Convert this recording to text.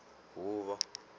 huvo